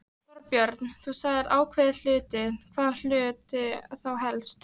Þorbjörn: Þú sagðir ákveðnir hlutir, hvaða hluti þá helst?